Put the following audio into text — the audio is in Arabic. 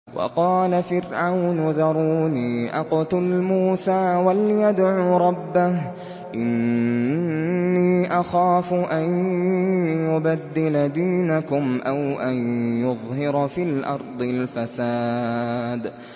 وَقَالَ فِرْعَوْنُ ذَرُونِي أَقْتُلْ مُوسَىٰ وَلْيَدْعُ رَبَّهُ ۖ إِنِّي أَخَافُ أَن يُبَدِّلَ دِينَكُمْ أَوْ أَن يُظْهِرَ فِي الْأَرْضِ الْفَسَادَ